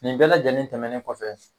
Nin bɛɛ lajɛlen tɛmɛnen kɔfɛ.